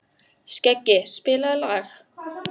Skeggi, spilaðu lag.